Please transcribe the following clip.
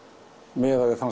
miðað við þann